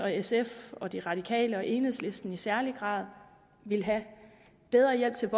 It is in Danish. sf og de radikale og enhedslisten i særlig grad ville have bedre hjælp til